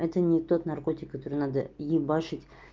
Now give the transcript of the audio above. это не тот наркотик который надо ебашить